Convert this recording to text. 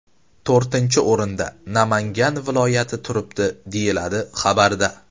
To‘rtinchi o‘rinda Namangan viloyati turibdi”, deyiladi xabarda.